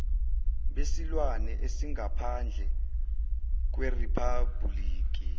besilwane esingaphandle kweriphabhuliki